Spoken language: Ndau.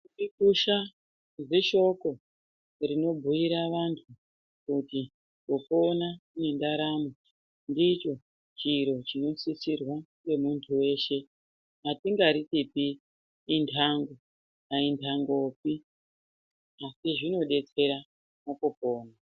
Kurikusha zishoko rinobhuyira vantu kuti kupona nendaramo ndicho chiro chinosisirwa ngemuntu weshe atingaritipi intango, ayintangopi asi zvinodetsera mukupona.